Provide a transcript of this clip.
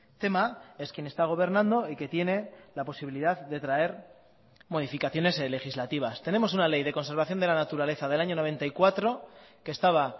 tema es quien está gobernando y que tiene la posibilidad de traer modificaciones legislativas tenemos una ley de conservación de la naturaleza del año noventa y cuatro que estaba